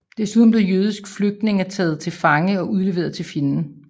Desuden blev jødiske flygtninge taget til fange og udleveret til fjenden